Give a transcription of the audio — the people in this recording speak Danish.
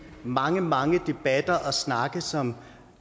mange mange debatter og snakke som